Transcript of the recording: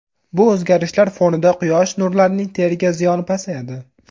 Bu o‘zgarishlar fonida quyosh nurlarining teriga ziyoni pasayadi.